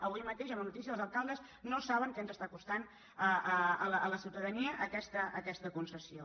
avui mateix hi ha una notí·cia que els alcaldes no saben què ens està costant a la ciutadania aquesta concessió